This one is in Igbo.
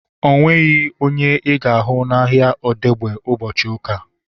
O nweghị onye ị ga-ahụ n'ahia Odegba ụbọchị ụka